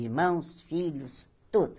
Irmãos, filhos, tudo.